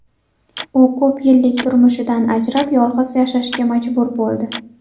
U ko‘p yillik turmushidan ajrab, yolg‘iz yashashga majbur bo‘ldi.